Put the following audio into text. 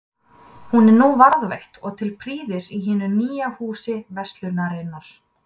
Hún er nú varðveitt og til prýðis í hinu nýja Húsi verslunarinnar.